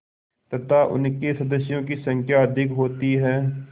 तथा उनके सदस्यों की संख्या अधिक होती है